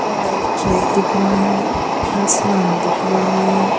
दिख रहा है आसमान दिख रहा है।